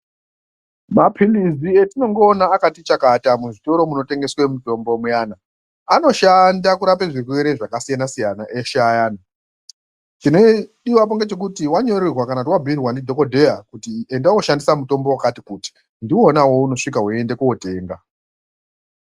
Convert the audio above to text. Mapilizi etinongoona akati chakata muzvitoro zvinotengeswe mitombo muyana anoshandiswa kurape zvirwere zvakasiyana siyana eshe ayani chinodiwapo ndechekuti wabhuirwa kana wanyorerwa ndidhokodheya kuti enda wooshandisa mutombo wakati kuti ndiwona uwowo weunosvika weienda kootenga.